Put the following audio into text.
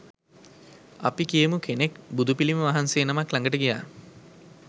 අපි කියමු කෙනෙක් බුදුපිළිම වහන්සේ නමක් ළඟට ගියා.